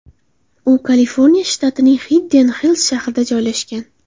U Kaliforniya shtatining Xidden-Xils shahrida joylashgan.